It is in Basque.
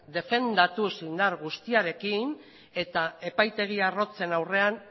defendatuz indar guztiarekin eta epaitegi arrotzen aurrean